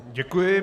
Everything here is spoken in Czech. Děkuji.